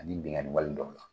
Ani bingani wale dɔw la.